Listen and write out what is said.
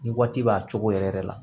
Ni waati b'a cogo yɛrɛ yɛrɛ la